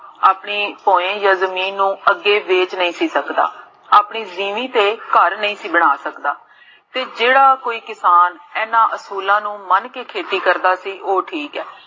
ਆਪਣੀ ਪੋਏੰ ਯਾ ਜਮੀਨ ਨੂੰ ਅੱਗੇ ਦੇਖ ਨਹੀ ਸੀ ਸਕਦਾ, ਆਪਣੀ ਨੀਮੀਂ ਤੇ ਘਰ ਨਹੀ ਸੀ ਬਣਾ ਸਕਦਾ, ਤੇ ਜੇਹੜਾ ਕੋਈ ਕਿਸਾਨ, ਇੰਨਾ ਉਸੁਕ੍ਲਾਂ ਨੂੰ, ਮਨ ਕੇ ਖੇਤੀ ਕਰਦਾ ਸੀ, ਓਹ ਠੀਕ ਹੈ